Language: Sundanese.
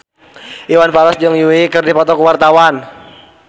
Iwan Fals jeung Yui keur dipoto ku wartawan